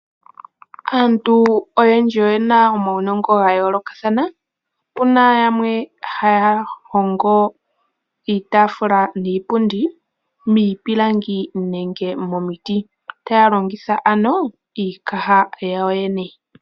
Aantu oyendji oyena omaunongo gayolokathana, puna yamwe haahogo Iitafula niipundi miipilangi nenge momiti taalongitha iikaha yawo yene.